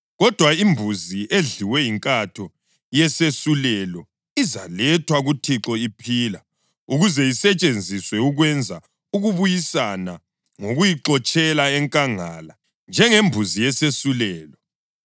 Kodwa imbuzi edliwe yinkatho yesesulelo izalethwa kuThixo iphila ukuze isetshenziswe ukwenza ukubuyisana ngokuyixotshela enkangala, njengembuzi yesesulelo.